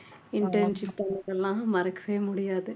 internship பண்ணதெல்லாம் மறக்கவே முடியாது